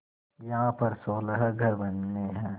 यहाँ पर सोलह घर बनने हैं